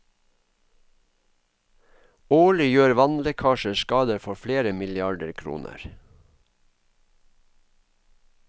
Årlig gjør vannlekkasjer skade for flere milliarder kroner.